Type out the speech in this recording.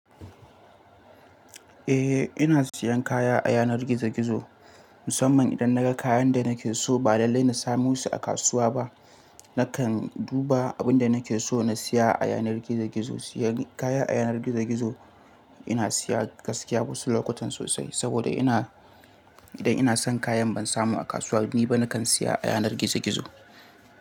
Eh ina siyan kaya a yanar gizo gizo musamman idan naga kayan da nake so ba lallai na samo su a kasuwa ba. Nakan duba abun da nake so na siya a yanar gizo gizo. Siyan kaya a yanar gizo gizo ina siya gaskiya wasu lokutan sosai saboda ina idan ina son kayan ban samu a kasuwanni ba nakan siya a yanar gizo gizo.